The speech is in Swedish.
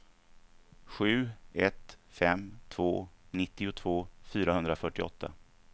sju ett fem två nittiotvå fyrahundrafyrtioåtta